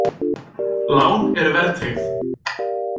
Lán eru verðtryggð!